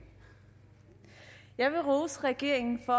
jeg vil rose regeringen for